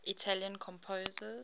italian composers